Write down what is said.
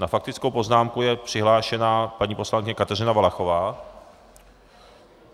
Na faktickou poznámku je přihlášená paní poslankyně Kateřina Valachová.